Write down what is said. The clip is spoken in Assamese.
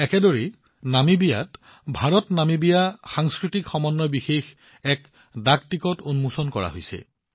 একেদৰে নামিবিয়াই ভাৰতনামিবিয়াৰ সাংস্কৃতিকপৰম্পৰাগত সম্পৰ্কৰ ওপৰত এক বিশেষ ডাকটিকট জাৰি কৰিছে